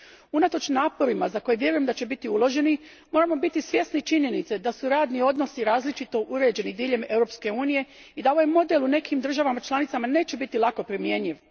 Unatoč naporima za koje vjerujem da će biti uloženi, moramo biti svjesni činjenice da su radni odnosi različito uređeni diljem Europske unije i da ovaj model u nekim državama članicama neće biti lako primjenjiv.